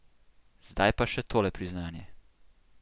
Zdaj pa še tole priznanje.